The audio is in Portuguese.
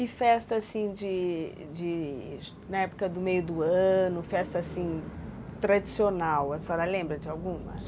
E festa assim de de... na época do meio do ano, festa assim tradicional, a senhora lembra de alguma?